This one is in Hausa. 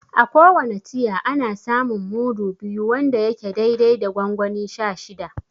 A ko wane tiya, ana samun mudu biyu wanda yake dai dai da gongoni sha shida.